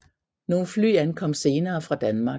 Nogle fly ankom senere fra Danmark